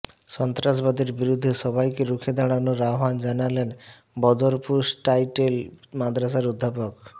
সন্ত্রাসবাদের বিরুদ্ধে সবাইকে রুখে দাঁড়ানোর আহ্বান জানালেন বদরপুর টাইটেল মাদ্রাসার অধ্যাপক